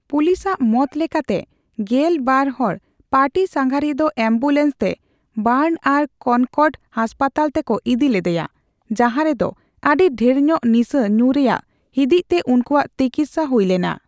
ᱯᱩᱞᱤᱥᱟᱜ ᱢᱚᱛ ᱞᱮᱠᱟᱛᱮ ᱜᱮᱞ ᱵᱟᱨ ᱦᱚᱲ ᱯᱟᱨᱴᱤᱼᱥᱟᱸᱜᱷᱟᱨᱤᱭᱟ ᱫᱚ ᱮᱢᱵᱩᱞᱮᱱᱥᱛᱮ ᱚᱵᱟᱨᱱ ᱟᱨ ᱠᱚᱱᱠᱚᱨᱰ ᱦᱟᱥᱯᱟᱛᱟᱞ ᱛᱮᱠᱚ ᱤᱫᱤ ᱞᱮᱫᱮᱭᱟ ᱾ ᱡᱟᱦᱟᱸ ᱨᱮᱫᱚ ᱟᱹᱰᱤ ᱰᱷᱮᱨᱧᱚᱜ ᱱᱤᱥᱟᱹ ᱧᱩ ᱨᱮᱭᱟᱜ ᱦᱤᱸᱫᱤᱡᱽᱛᱮ ᱩᱱᱠᱩᱣᱟᱜ ᱛᱤᱠᱤᱛᱥᱟ ᱦᱩᱭ ᱞᱮᱱᱟ ᱾